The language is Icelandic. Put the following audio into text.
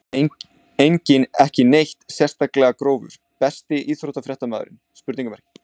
Enginn ekki neitt sérstaklega grófur Besti íþróttafréttamaðurinn?